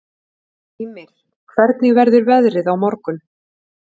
Ymir, hvernig verður veðrið á morgun?